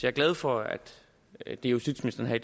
er glad for at at det justitsministeren her